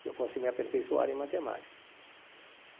Que eu fosse me aperfeiçoar em matemática.